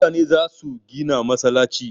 Mutane za su gina masallci